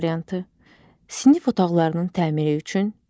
C variantı: sinif otaqlarının təmiri üçün,